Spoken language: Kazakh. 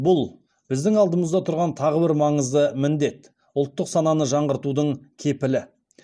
бұл біздің алдымызда тұрған тағы бір маңызды міндет ұлттық сананы жаңғыртудың кепілі